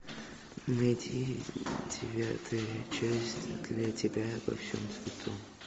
найти девятая часть для тебя во всем цвету